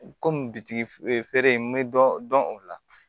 Komi bitigi fereke n be dɔ dɔn o la